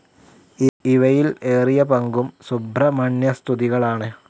ഇവയിൽ ഏറിയ പങ്കും സുബ്രഹ്മണ്യസ്തുതികളാണ്.